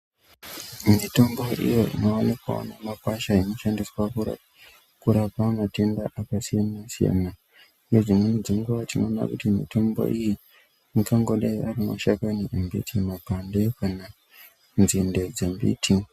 Mitombo iyo inoonekwa mumakwasha inoshandise kurapa kurape matenda akasiyana siyana nedsimweni dzenguwa tinoona kuti mitombo iyi ingangodai ari mapande kana kuti nzinde dzembiti.